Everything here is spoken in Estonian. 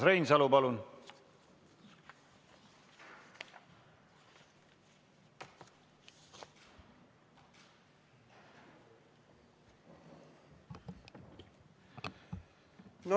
Urmas Reinsalu, palun!